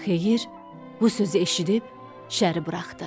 Xeyir bu sözü eşidib, Şəri buraxdı.